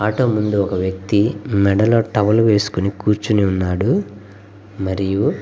auto ముందు ఒక వ్యక్తి మెడలో టవల్ వేసుకుని కూర్చిఉని ఉన్నాడు మరియు --